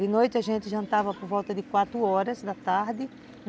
De noite a gente jantava por volta de quatro horas da tarde.